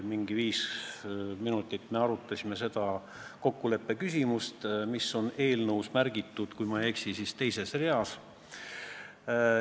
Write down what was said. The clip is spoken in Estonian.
Umbes viis minutit me arutasime seda kokkuleppeküsimust, mis on märgitud, kui ma ei eksi, eelnõu teises reas.